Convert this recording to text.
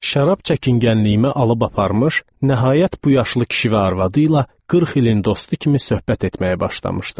Şərab çəkingənliyimi alıb aparmış, nəhayət bu yaşlı kişi və arvadı ilə 40 ilin dostu kimi söhbət etməyə başlamışdım.